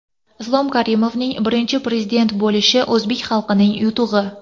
Islom Karimovning Birinchi Prezident bo‘lishi o‘zbek xalqining yutug‘i.